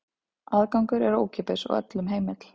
Aðgangur er ókeypis og öllum heimill.